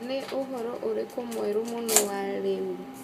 ni ũhoro ũrikũ mwerũ mũno wa rĩu